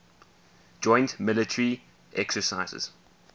joint military exercises